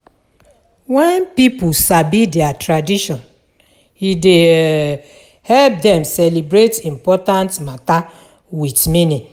Wen pipo sabi tradition, e dey um help dem celebrate important mata wit meaning.